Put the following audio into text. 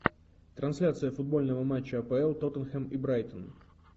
трансляция футбольного матча апл тоттенхэм и брайтон